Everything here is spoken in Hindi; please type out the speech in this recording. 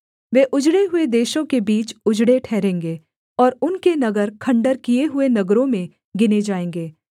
वे उजड़े हुए देशों के बीच उजड़े ठहरेंगे और उनके नगर खण्डहर किए हुए नगरों में गिने जाएँगे